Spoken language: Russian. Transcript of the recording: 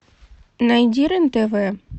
найди рен тв